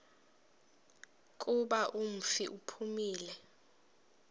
kuba umfi uphumile